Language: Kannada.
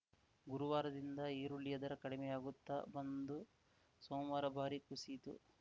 ಗುರುವಾರದಿಂದ ಈರುಳ್ಳಿಯ ದರ ಕಡಿಮೆಯಾಗುತ್ತ ಬಂದು ಸೋಮವಾರ ಭಾರೀ ಕುಸಿಯಿತು